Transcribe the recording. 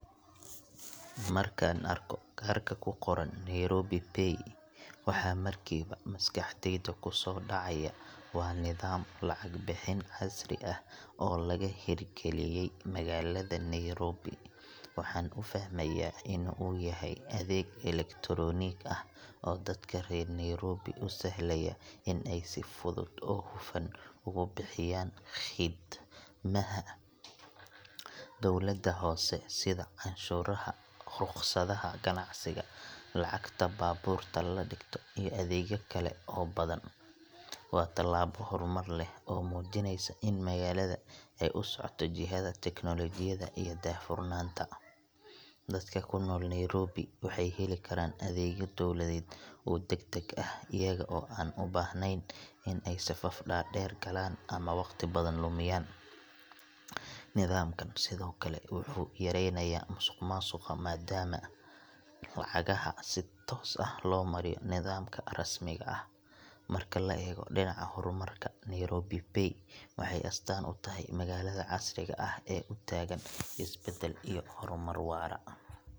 Markaan arko kaarka ku qoran Nairobi Pay waxa markiiba maskaxdayda ku soo dhacaya waa nidaam lacag bixin casri ah oo laga hirgeliyey magaalada Nairobi. Waxaan u fahmayaa in uu yahay adeeg elektaroonig ah oo dadka reer Nairobi u sahlaya in ay si fudud oo hufan ugu bixiyaan khidmadaha dowladda hoose sida canshuuraha, rukhsadaha ganacsiga, lacagta baabuurta la dhigto, iyo adeegyo kale oo badan. Waa tallaabo horumar leh oo muujinaysa in magaalada ay u socoto jihada tiknoolajiyadda iyo daahfurnaanta. Dadka ku nool Nairobi waxay heli karaan adeegyo dawladeed oo degdeg ah iyaga oo aan u baahnayn in ay safaf dhaadheer galaan ama waqti badan lumiyaan. Nidaamkan sidoo kale wuxuu yareynayaa musuqmaasuqa maadaama lacagaha si toos ah loo mariyo nidaamka rasmiga ah. Marka la eego dhinaca horumarka, Nairobi Pay waxay astaan u tahay magaalada casriga ah ee u taagan isbeddel iyo horumar waara.